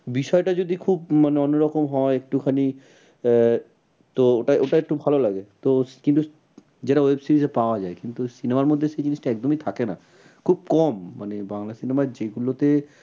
বিষয়টা যদি খুব মানে অন্য রকম হয় একটুখানি আহ তো ওটা ওটা একটু ভালো লাগে। তো কিন্তু যেটা web series এ পাওয়া যায় কিন্তু web series মধ্যে সেই জিনিসটা একদমই থাকে না। খুব কম মানে বাংলা cinema র যেগুলোতে